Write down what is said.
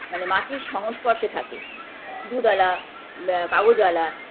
মানে মাটির সংস্পর্শে থাকে দুধ আলা আ কাগজ আলা